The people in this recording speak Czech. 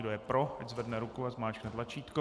Kdo je pro, ať zvedne ruku a zmáčkne tlačítko.